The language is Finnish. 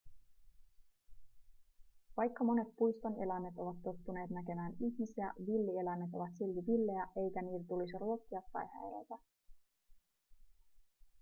vaikka monet puiston eläimet ovat tottuneet näkemään ihmisiä villieläimet ovat silti villejä eikä niitä tulisi ruokkia tai häiritä